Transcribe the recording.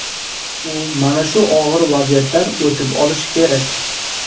U mana shu og‘ir vaziyatdan o‘tib olishi kerak.